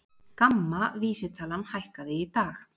GAMMA vísitalan hækkaði í dag